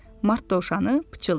Mart dovşanı pıçıldadı.